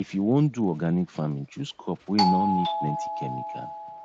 if you won do organic farming chose crop wey nor need plenty chemical